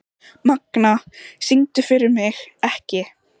Magna, syngdu fyrir mig „Ekki“.